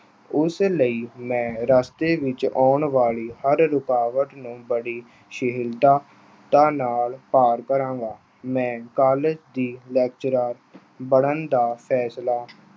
ਉਸ ਲਈ ਮੈਂ ਰਸਤੇ ਵਿੱਚ ਆਉਣ ਵਾਲੀ ਹਰ ਰੁਕਾਵਟ ਨੂੰ ਬੜੀ ਸਹਿਣਸ਼ੀਲਤਾ ਨਾਲ ਪਾਰ ਕਰਾਂਗਾ। ਮੈਂ college ਦਾ lecturer ਬਣਨ ਦਾ ਫੈਸਲਾ